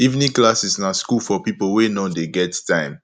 evening classes na school for pipo wey no dey get time